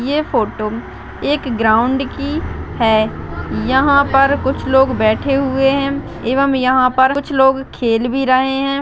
ये फोटो एक ग्राउंड की है यहाँ पर कुछ लोग बेठे हुए है एवं यहाँ पर कुछ लोग खेल भी रहे हैं।